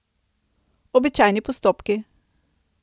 Običajni postopki.